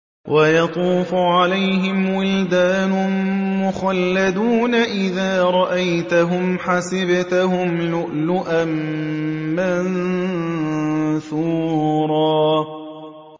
۞ وَيَطُوفُ عَلَيْهِمْ وِلْدَانٌ مُّخَلَّدُونَ إِذَا رَأَيْتَهُمْ حَسِبْتَهُمْ لُؤْلُؤًا مَّنثُورًا